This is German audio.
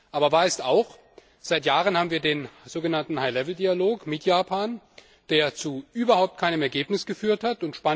Aber wahr ist auch Seit Jahren haben wir den so genannten High Level Dialog mit Japan, der zu überhaupt keinem Ergebnis geführt hat.